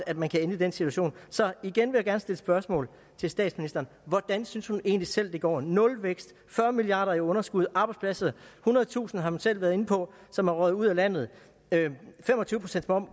at man kan ende i den situation så igen vil jeg gerne stille spørgsmålet til statsministeren hvordan synes hun egentlig selv det går nulvækst fyrre milliard kroner i underskud arbejdspladser ethundredetusind har man selv været inde på som er røget ud af landet